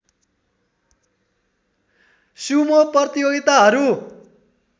Sumo प्रतियोगिताहरू